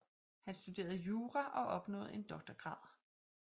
Han studerede jura og opnåede en doktorgrad